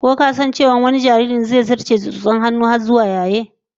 Ko ka san cewa wani jaririn, zai zarce da irin tsotson hannun jarirai suke yi har zuwa yayewa?